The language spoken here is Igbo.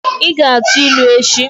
Ị ga-atụ ilu echi!